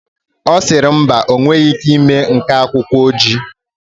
Ọ sịrị mba, ọ nweghị ike ịme nka akwụkwọ ojii.